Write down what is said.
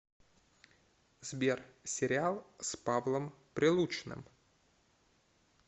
сбер сериал с павлом прилучным